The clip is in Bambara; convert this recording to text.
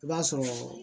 I b'a sɔrɔ